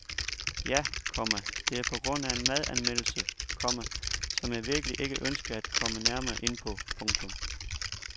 Ja, komma det er på grund af en madanmeldelse , komma som jeg virkelig ikke ønsker at komme nærmere ind på. punktum